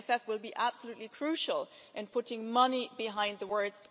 The MFF will be absolutely crucial in putting money behind words.